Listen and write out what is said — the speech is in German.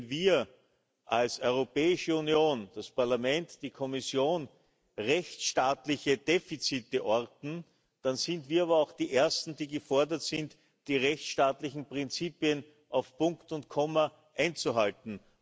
Und wenn wir als Europäische Union das Parlament, die Kommission rechtsstaatliche Defizite orten, dann sind wir aber auch die Ersten, die gefordert sind, die rechtsstaatlichen Prinzipien auf Punkt und Komma einzuhalten.